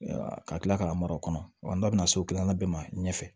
Ka kila k'a mar'o kɔnɔ wa n da bɛna so kilanna bɛɛ ma ɲɛ fɛ